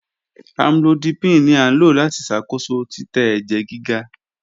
Amlodipine ni a lo lati ṣakoso titẹ ẹjẹ giga.